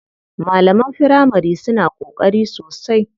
Malaman firamari suna ƙoƙari sosai.